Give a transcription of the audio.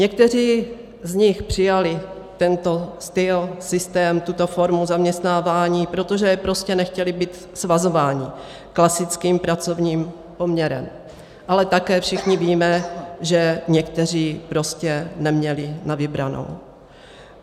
Někteří z nich přijali tento styl, systém, tuto formu zaměstnávání, protože prostě nechtěli být svazováni klasickým pracovním poměrem, ale také všichni víme, že někteří prostě neměli na vybranou.